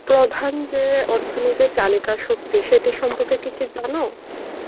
প্রধান যে অর্থনীতির চালিকাশক্তি এটা সম্পর্কে কি জানো?